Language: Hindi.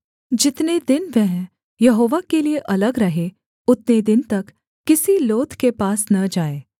जितने दिन वह यहोवा के लिये अलग रहे उतने दिन तक किसी लोथ के पास न जाए